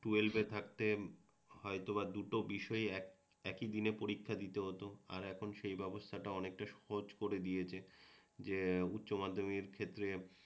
টুয়েলভে থাকতে হয়তোবা দুটো বিষয় একই দিনে পরীক্ষা দিতে হত আর এখন সেই ব্যবস্থাটা অনেকটা সহজ করে দিয়েছে যে উচ্চমাধ্যমিকের ক্ষেত্রে